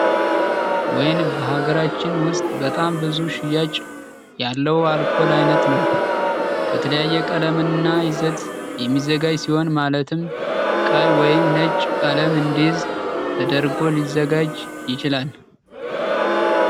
ወይን በሃገራችን ውስጥ በጣም ብዙ ሽያጭ ያለው የአልኮል አይነት ነው። በተለያየ ቀለም እና ይዘት የሚዘጋጅ ሲሆን ማለትም ቀይ ወይም ነጭ ቀለም እንዲይዝ ተደርጎ ሊዘጋጅ ይችላል።